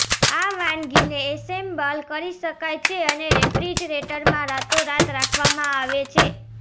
આ વાનગીને એસેમ્બલ કરી શકાય છે અને રેફ્રિજરેટરમાં રાતોરાત રાખવામાં આવે છે